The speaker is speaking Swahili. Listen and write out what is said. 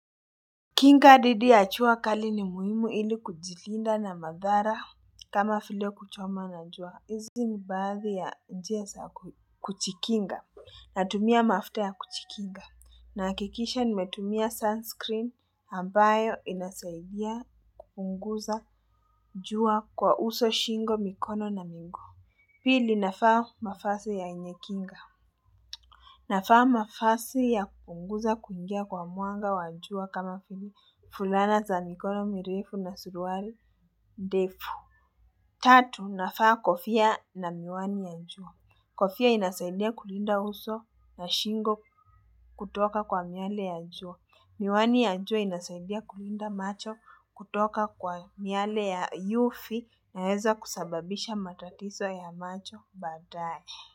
Kinga didhi jua kali ni muhimu ili kujilinda na madhara kama vile kuchomwa na jua. Izi ni baadhi ya njia saa kujikinga. Natumia mafuta ya kujikinga. Nahakikisha nimetumia sunscreen ambayo inasaidia kupunguza jua kwa uso shingo mikono na miguu. Pili navaa mafasi yenye kinga. Navaa mavasi ya kupunguza kuingia kwa mwanga wa jua kama vile fulana za mikono mirefu na suruari ndefu Tatu, navaa kofia na miwani ya jua Kofia inasaidia kulinda uso na shingo kutoka kwa miale ya jua Miwani ya jua inasaidia kulinda macho kutoka kwa miale ya UV inaeza kusababisha matatizo ya macho baadae.